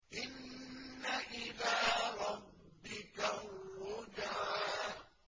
إِنَّ إِلَىٰ رَبِّكَ الرُّجْعَىٰ